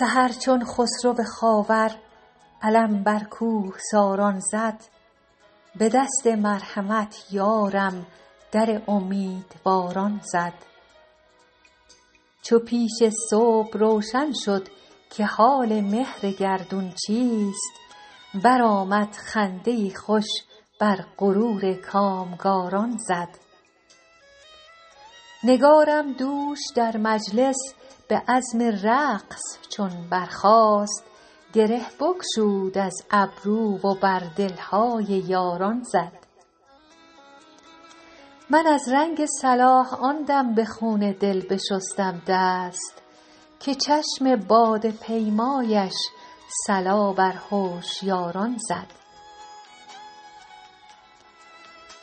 سحر چون خسرو خاور علم بر کوهساران زد به دست مرحمت یارم در امیدواران زد چو پیش صبح روشن شد که حال مهر گردون چیست برآمد خنده ای خوش بر غرور کامگاران زد نگارم دوش در مجلس به عزم رقص چون برخاست گره بگشود از گیسو و بر دل های یاران زد من از رنگ صلاح آن دم به خون دل بشستم دست که چشم باده پیمایش صلا بر هوشیاران زد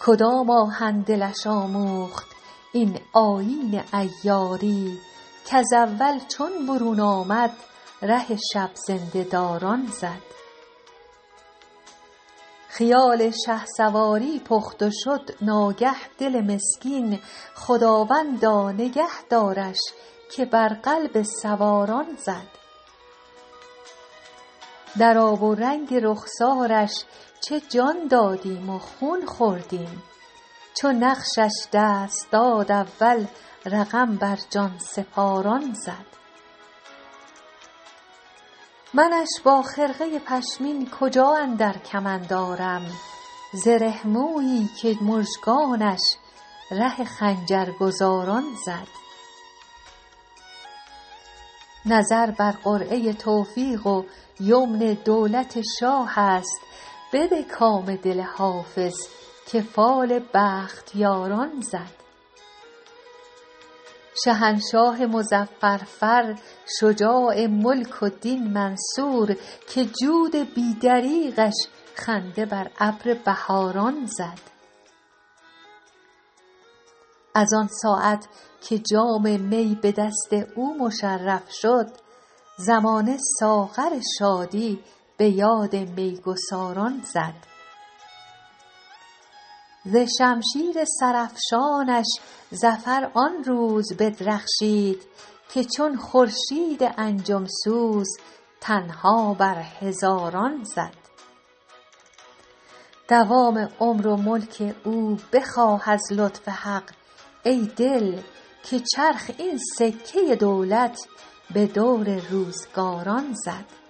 کدام آهن دلش آموخت این آیین عیاری کز اول چون برون آمد ره شب زنده داران زد خیال شهسواری پخت و شد ناگه دل مسکین خداوندا نگه دارش که بر قلب سواران زد در آب و رنگ رخسارش چه جان دادیم و خون خوردیم چو نقشش دست داد اول رقم بر جان سپاران زد منش با خرقه پشمین کجا اندر کمند آرم زره مویی که مژگانش ره خنجرگزاران زد نظر بر قرعه توفیق و یمن دولت شاه است بده کام دل حافظ که فال بختیاران زد شهنشاه مظفر فر شجاع ملک و دین منصور که جود بی دریغش خنده بر ابر بهاران زد از آن ساعت که جام می به دست او مشرف شد زمانه ساغر شادی به یاد می گساران زد ز شمشیر سرافشانش ظفر آن روز بدرخشید که چون خورشید انجم سوز تنها بر هزاران زد دوام عمر و ملک او بخواه از لطف حق ای دل که چرخ این سکه دولت به دور روزگاران زد